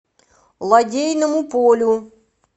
лодейному полю